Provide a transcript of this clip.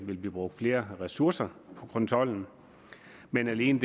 vil blive brugt flere ressourcer på kontrollen men alene